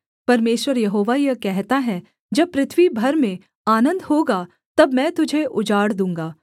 परमेश्वर यहोवा यह कहता है जब पृथ्वी भर में आनन्द होगा तब मैं तुझे उजाड़ दूँगा